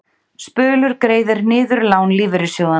Spölur greiðir niður lán lífeyrissjóðanna